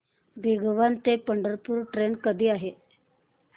भिगवण ते पंढरपूर ट्रेन कधी आहे